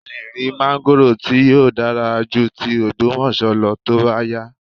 A lè rí máńgórò tí yóò dára ju ti Ògbómọ̀ṣọ́ lọ tó bá yá